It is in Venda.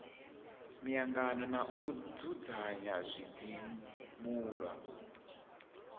miangano na u dzudzanya zwidzimula